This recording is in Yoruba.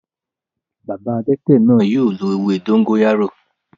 Bàbá adete náà yóò lo ewé dóngóyárò